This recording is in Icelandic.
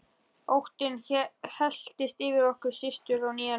Óttinn helltist yfir okkur systur á nýjan leik.